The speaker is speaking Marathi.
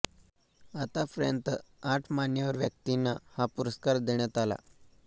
आतापर्यंत आठ मान्यवर व्यक्तींना हा पुरस्कार देण्यात आला